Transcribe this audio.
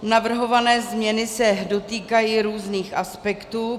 Navrhované změny se dotýkají různých aspektů.